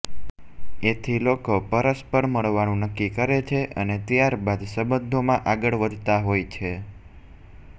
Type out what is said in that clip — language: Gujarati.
એથી લોકો પરસ્પર મળવાનું નક્કી કરે છે અને ત્યાર બાદ સંબંધોમાં આગળ વધતા હોય છે